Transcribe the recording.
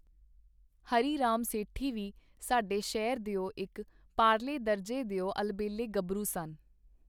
ਹਰੀ ਰਾਮ ਸੇਠੀ ਵੀ ਸਾਡੇ ਸ਼ਹਿਰ ਦਿਓ ਇਕ ਪਾਰਲੇ ਦਰਜੇ ਦਿਓ ਅਲਬੇਲੇ ਗੱਭਰੂ ਸਨ.